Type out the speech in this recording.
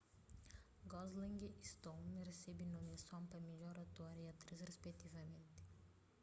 gosling y stone resebe nomiason pa midjor ator y atris rispetivamnti